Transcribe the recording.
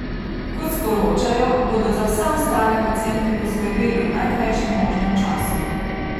Kot sporočajo, bodo za vse ostale paciente poskrbeli v najkrajšem možnem času.